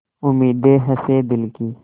उम्मीदें हसें दिल की